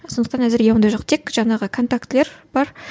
сондықтан әзірге ондай жоқ тек жаңағы контактілер бар